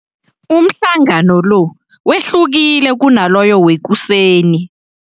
Umhlangano lo wehlukile kunaloyo wekuseni.